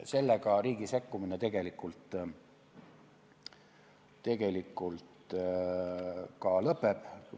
Sellega riigi sekkumine tegelikult ka lõpeb.